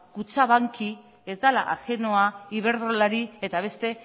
kutxabanki ez dela ajenoa iberdrolari eta beste